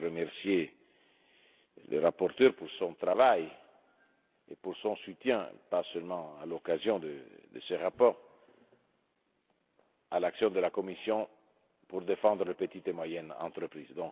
Je veux remercier le rapporteur pour son travail et pour le soutien apporté pas seulement à l'occasion de ce rapport à l'action de la Commission pour défendre les petites et moyennes entreprises.